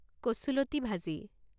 কচুলতি ভাজি